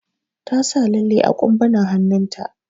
Ta sa lalli a ƙumbunan hannun ta.